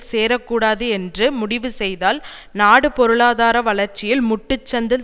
சேரக்கூடாது என்று முடிவு செய்தால் நாடு பொருளாதார வளர்ச்சியில் முட்டுச்சந்தில்